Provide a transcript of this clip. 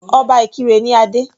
Obá Ìkirè ní adé.